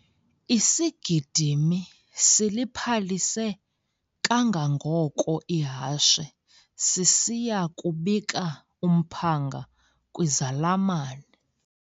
Isigidimi siliphalise kangangoko ihashe sisiya kubika umphanga kwizalamane.